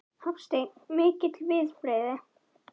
Hafsteinn: Mikil viðbrigði?